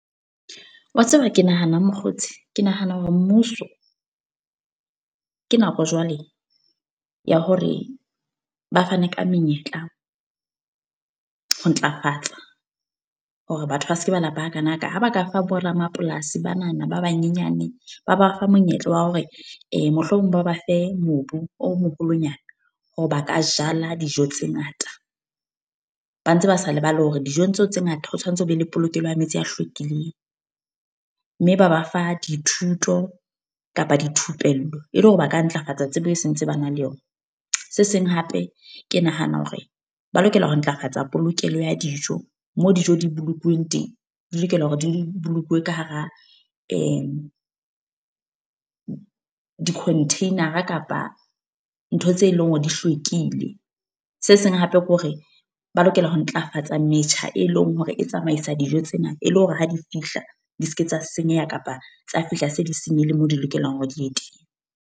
Wa tseba ke nahana eng mokgotsi, ke nahana hore mmuso ke nako jwale ya hore ba fane ka menyetla ho ntlafatsa. Hore batho ba seke ba lapa hakana ka, ha ba ka fa bo ramapolasi ba na na ba banyenyane. Ba ba fa monyetla wa hore mohlomong ba ba fe mobu o moholonyana. Hore ba ka jala dijo tse ngata. Ba ntse ba sa lebale hore dijong tseo tse ngata ho tshwanetse ho be le polokelo ya metsi a hlwekileng. Mme ba ba fa dithuto kapa dithupello, e le hore ba ka ntlafatsa tsebo e sentse ba na le yona. Se seng hape ke nahana hore ba lokela ho ntlafatsa polokelo ya dijo. Mo dijo di bolokuweng teng, di lokela hore di bolokilwe ka hara di-container-a kapa, ntho tseo e leng hore di hlwekile. Se seng hape ke hore, ba lokela ho ntlafatsa metjha e leng hore e tsamaisa dijo tsena. E le hore ha di fihla di seke tsa senyeha kapa tsa fihla se di senyehile moo di lokelang hore di ye teng.